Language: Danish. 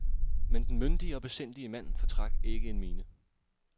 Men den myndige og besindige mand fortrak ikke en mine.